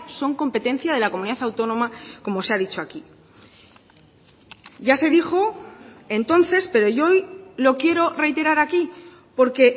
son competencia de la comunidad autónoma como se ha dicho aquí ya se dijo entonces pero yo hoy lo quiero reiterar aquí porque